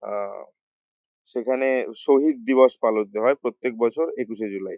আহ সেখানে শহীদ দিবস পালিত হয় প্রত্যেক বছর একুশে জুলাই ।